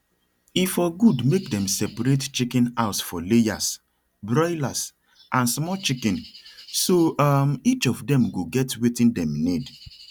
e for good make dem separate chicken house for layers broilers and small chicken so um each of dem go get wetin dem need